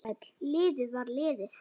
Liðið var liðið.